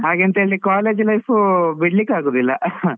ಹಾಗೆಂತ ಹೇಳಿ college life ಬಿಡ್ಲಿಕ್ಕೆ ಆಗುದಿಲ್ಲ .